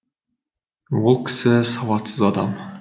ол кісі сауатсыз адам